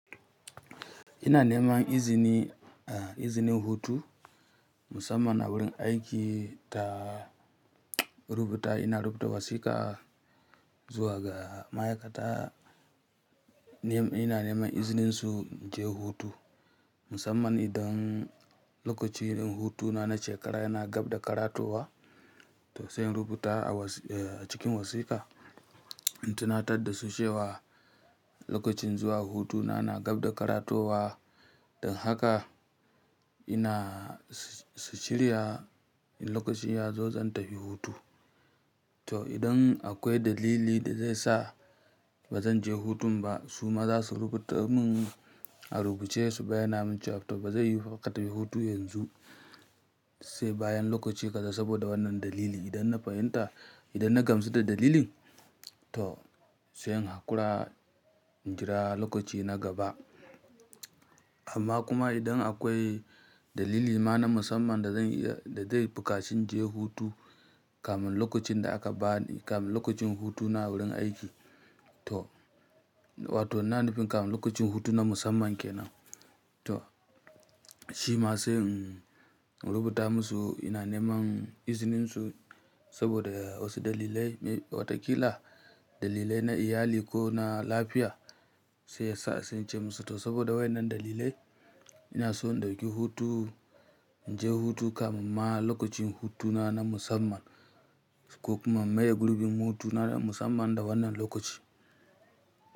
Ina neman izini, izini hutu musamman a wurin aiki ta rubuta, ina rubuta wasiƙa zuwa ga ma'aikata. Ina neman izinin su in je hutu musamman idan lokacin hutuna na shekara yana gab da karatowa, to sai in rubuta a cikin wasiƙa in tunatar da su cewa lokacin zuwa hutuna na gab da karatowa. Don haka ina su shirya lokacin yazo zan tafi hutu. To idan akwai dalili da zai sa ba zan je hutun ba, su ma za su rubuta mun a rubuce su bayyana min cewa to ba zai yiwu fa ka tafi hutu yanzu, sai bayan lokaci kaza saboda wannan dalili. Idan na fahimta, idan na gamsu da dalilin, to sai in hakura in jira lokaci na gaba. Amma kuma idan akwai dalili ma na musamman da zan iya, da zai bukaci in je hutu kamin lokacin da aka bani, kamin lokacin hutuna wurin aiki to, wato nan da fin kamin lokacin hutuna musamman kenan, to shi ma sai in rubuta musu ina neman izinin su saboda wasu dalilai, wataƙila dalilai na iyali ko na lafiya sai sa sai in ce musu to saboda wai wannan dalilai ina so in dauki hutu, in je hutu kamin ma lokacin hutuna na musamman ko kuma maye gurbin hutuna na musamman da wannan lokaci.